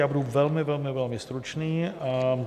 Já budu velmi, velmi, velmi stručný.